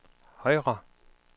højre